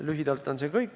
Lühidalt on see kõik.